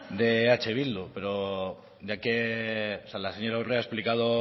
de eh bildu pero ya que la señora urrea ha explicado